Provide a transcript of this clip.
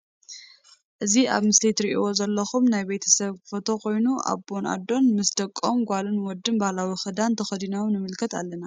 እዚ ኣብ ምስሊ አትሪእዎም ዘለኩም ናይ ቤተ ሰብ ፎቶ ኮይኑ ኣቦን ኣዶን ምስ ደቆም ጋልን ወድን ባህላዊ ክዳን ተከዲኖም ንምልከት ኣለና።